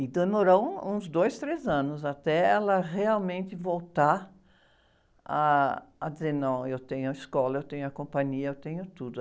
E demorou um, uns dois, três anos até ela realmente voltar ah, a dizer, não, eu tenho a escola, eu tenho a companhia, eu tenho tudo.